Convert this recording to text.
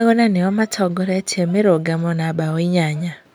Maguna nĩo matongoretie mĩrũgamo na mbaũ inyanya.